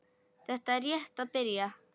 Þetta er rétt að byrja